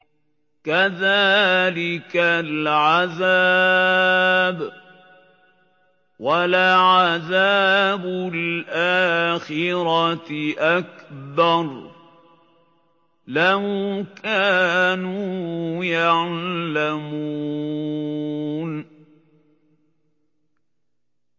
كَذَٰلِكَ الْعَذَابُ ۖ وَلَعَذَابُ الْآخِرَةِ أَكْبَرُ ۚ لَوْ كَانُوا يَعْلَمُونَ